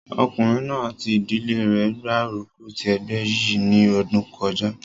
Ọkùnrin náà àti ìdílé rẹ̀ gbárùkù ti ẹgbẹ́ yìí ní ọdún kọjá